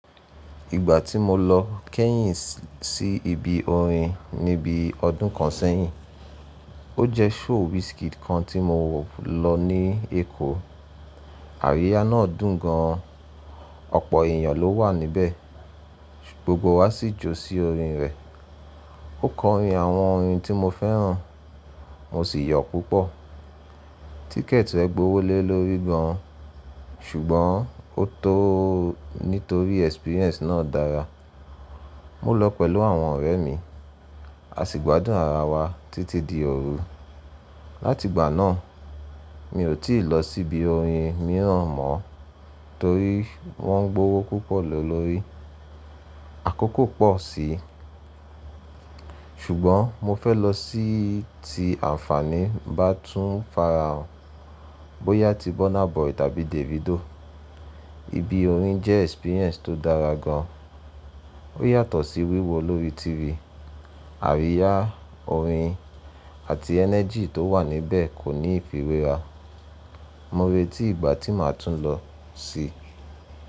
Ìgbà tí mo lọ kẹ́yìn sí ibi orin ní bí i ọdún kan sẹ́yìn. O jẹ show Wizkid kan ti mo lọ ni ekó. Àríyá náà dùn gan an, ọ̀pọ̀ èèyàn ló wà níbẹ̀, gbogbo wa sì jó sí orin rẹ̀. Ó kọ orin àwọn orin tí mo fẹ́ràn, mo sì yọ̀ púpọ̀. Tíkẹ̀ẹ̀tì rẹ̀ gbówó lé lórí gan an ṣùgbọ́n ó tó nítorí ẹ́sípíríẹ́ǹsì náà dára. Mo lọ pẹ̀lú àwọn ọ̀rẹ́ mi, a sì gbádùn ara wa títí di òru. Láti ìgbà náà, mi ò tí ì lọ sí ibi orin mìíràn mọ́ torí wọ́n ń gbówó púpọ̀ lé lórí, àkókò pọ̀ sí í. Ṣùgbọ́n mo fẹ́ lọ sí ti àǹfààní bá tún farahàn, bóyá ti Burna Boy tàbí Davido. Ibi orin jẹ́ ẹ́sípíríẹ́ǹsì tó dára gan an. Ó yàtọ̀ sí wíwo lórí tẹlifísàn. Àríyá orin àti ẹ́nẹ́jì tó wà níbẹ̀ kò ní ìfiwéra. Mo retí ìgbà tí màá tún lọ sí.